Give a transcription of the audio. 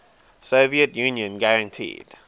soviet union guaranteed